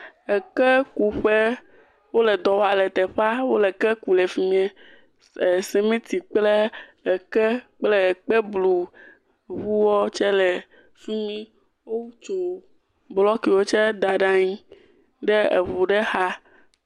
Ekekuƒe, wole dɔ wa le teƒa, wole ke ku le fi mie, e simiti kple eke kple ekpebluŋuɔ tse le fi mi, otso blɔkiwo tse da ɖe aŋi ɖe eŋu ɖe xa.